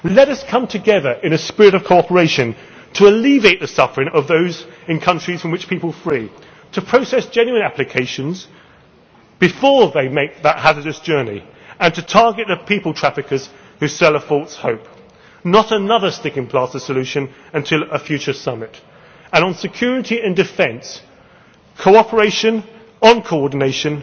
other. Let us come together in a spirit of cooperation to alleviate the suffering of those in countries from which people flee, to process genuine applications before they make that hazardous journey, and to target the people traffickers who sell a false hope not another sticking plaster solution until a future summit. And on security and defence, cooperation on coordination,